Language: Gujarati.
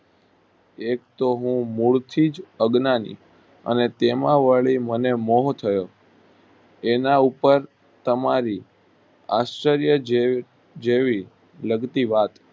એક તો હું પહેલેથી જ અજ્ઞાની અને વળી તેમાં મને બોવ જ એના ઉપર તમારી આશ્રય જેવી જેવી લગતી વાત